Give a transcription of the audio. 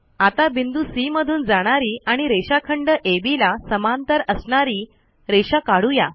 आता बिंदू सी मधून जाणारी आणि रेषाखंड अब ला समांतर असणारी रेषा काढू या